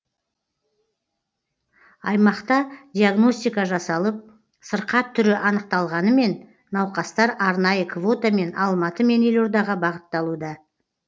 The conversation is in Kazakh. аймақта диагностика жасалып сырқат түрі анықталғанымен науқастар арнайы квотамен алматы мен елордаға бағытталуда